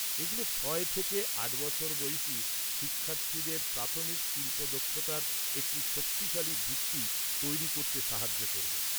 এগুলো ছয় থেকে আট বছর বয়সী শিক্ষার্থীদের প্রাথমিক শিল্প দক্ষতার একটি শক্তিশালী ভিত্তি তৈরি করতে সাহায্য করবে।